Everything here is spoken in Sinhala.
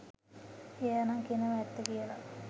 එයා නම් කියනවා ඇත්ත කියලා.